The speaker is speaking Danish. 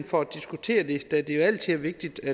for at diskutere det da det jo altid er vigtigt at